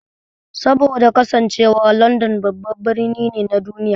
Saboda kasancewar London babban birni ne na duniya.